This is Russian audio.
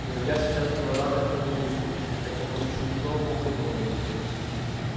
но илья сейчас был рад этому буйству этому чужому гною